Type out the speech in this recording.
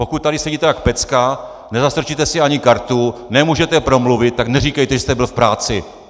Pokud tady sedíte jak pecka, nezastrčíte si ani kartu, nemůžete promluvit, tak neříkejte, že jste byl v práci!